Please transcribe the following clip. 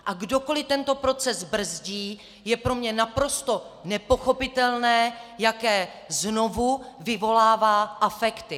A kdokoli tento proces brzdí, je pro mě naprosto nepochopitelné, jaké znovu vyvolává afekty.